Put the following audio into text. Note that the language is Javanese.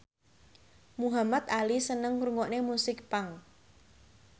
Muhamad Ali seneng ngrungokne musik punk